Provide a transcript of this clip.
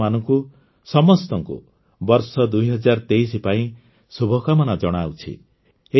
ମୁଁ ଆପଣମାନଙ୍କୁ ସମସ୍ତଙ୍କୁ ବର୍ଷ ୨୦୨୩ ପାଇଁ ଶୁଭକାମନା ଜଣାଉଛି